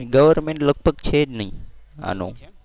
governmen લગભગ છે જ નહીં આનું.